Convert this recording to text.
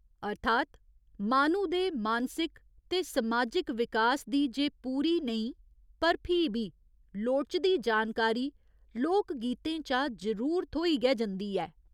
अर्थात् माह्‌नू दे मानसिक ते समाजिक विकास दी जे पूरी नेईं पर फ्ही बी लोड़चदी जानकारी लोक गीतें चा जरूर थ्होई गै जंदी ऐ।